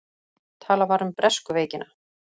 Talað var um bresku veikina.